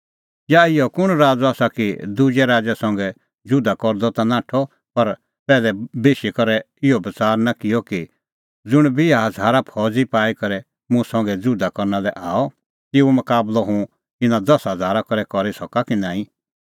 या इहअ कुंण राज़अ आसा कि दुजै राज़ै संघै जुधा करदअ ता नाठअ पर पैहलै बेशी करै इहअ बच़ार निं किअ कि ज़ुंण बिहा हज़ारा फौज़ी पाई करै मुंह संघै जुधा करना लै आअ तेऊओ मकाबलअ हुंह इना दसा हज़ारा करै करी सका कि नांईं